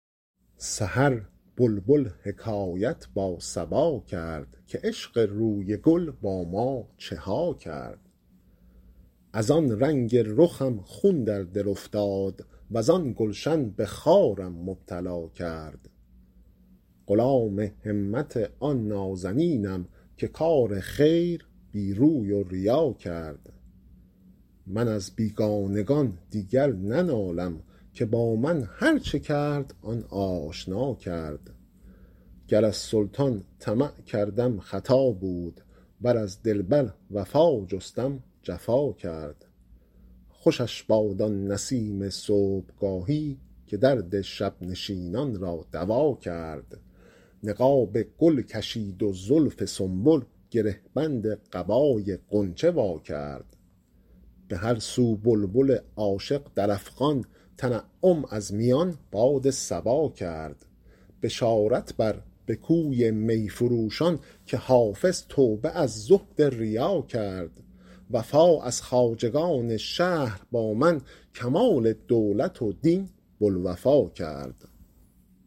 سحر بلبل حکایت با صبا کرد که عشق روی گل با ما چه ها کرد از آن رنگ رخم خون در دل افتاد وز آن گلشن به خارم مبتلا کرد غلام همت آن نازنینم که کار خیر بی روی و ریا کرد من از بیگانگان دیگر ننالم که با من هرچه کرد آن آشنا کرد گر از سلطان طمع کردم خطا بود ور از دلبر وفا جستم جفا کرد خوشش باد آن نسیم صبحگاهی که درد شب نشینان را دوا کرد نقاب گل کشید و زلف سنبل گره بند قبای غنچه وا کرد به هر سو بلبل عاشق در افغان تنعم از میان باد صبا کرد بشارت بر به کوی می فروشان که حافظ توبه از زهد ریا کرد وفا از خواجگان شهر با من کمال دولت و دین بوالوفا کرد